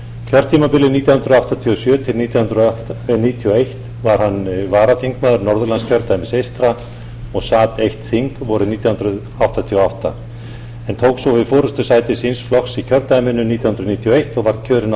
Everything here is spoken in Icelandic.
kjörtímabilið nítján hundruð áttatíu og sjö til nítján hundruð níutíu og eitt var hann varaþingmaður norðurlandskjördæmis eystra og sat eitt þing vorið nítján hundruð áttatíu og átta hann tók svo við forustusæti síns flokks í kjördæminu nítján hundruð níutíu og eins og var kjörinn á